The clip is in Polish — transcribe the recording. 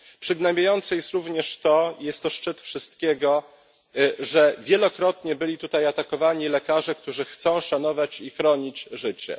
Przygnębiające jest również to i jest to szczyt wszystkiego że wielokrotnie byli tutaj atakowani lekarze, którzy chcą szanować i chronić życie.